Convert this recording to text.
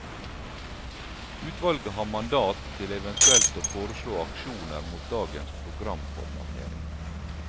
Utvalget har mandat til eventuelt å foreslå aksjoner mot dagens programformatering.